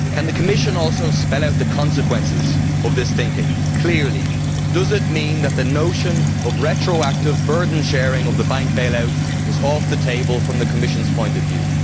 Can the Commission spell out the consequences of this thinking clearly? Does it mean that the notion of retroactive burden sharing of the bank bailout is off the table from the Commission's point of view?